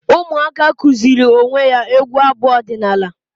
Ụmụaka kụziri onwe ya egwu abu ọdịnala